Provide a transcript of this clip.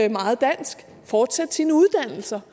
og meget dansk at fortsætte sine uddannelser